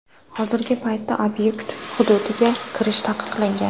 Hozirgi paytda obyekt hududiga kirish taqiqlangan.